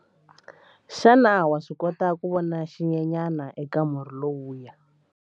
Xana wa swi kota ku vona xinyenyana eka murhi lowuya?